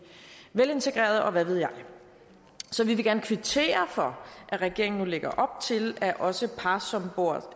velintegreret og hvad ved jeg så vi vil gerne kvittere for at regeringen nu lægger op til at også par som bor